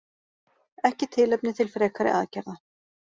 Ekki tilefni til frekari aðgerða